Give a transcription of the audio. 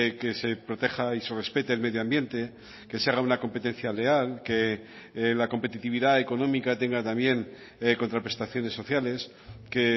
que se proteja y se respete el medio ambiente que se haga una competencia leal que la competitividad económica tenga también contraprestaciones sociales que